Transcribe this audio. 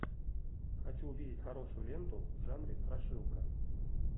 хочу увидеть хорошую ленту в жанре страшилка